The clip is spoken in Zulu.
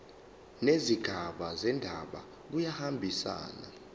nezigaba zendaba kuyahambisana